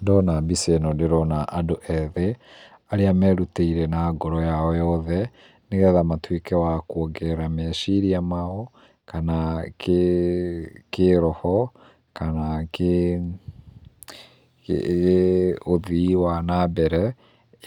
Ndona mbica ĩno ndĩrona andũ ethĩ arĩa merutĩire na ngoro yao yothe nĩgetha matuĩke wa kuongerera meciria mao, kana kĩroho, kana kĩ ũthii wa na mbere,